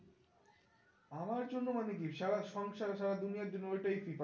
আমার জন্য মানে কি সারা সংসার সারা দুনিয়ার জন্য ওই টাই FIFA